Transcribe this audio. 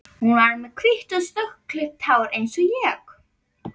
Hún var með hvítt og snöggklippt hár eins og ég.